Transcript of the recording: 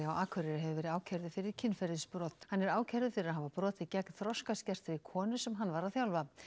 á Akureyri hefur verið ákærður fyrir kynferðisbrot hann er ákærður fyrir að hafa brotið gegn þroskaskertri konu sem hann var að þjálfa